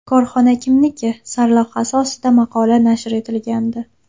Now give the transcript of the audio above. Korxona kimniki?” sarlavhasi ostida maqola nashr etilgandi.